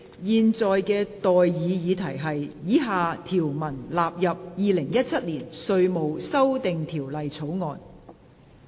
現在的待議議題是：以下條文納入《2017年稅務條例草案》。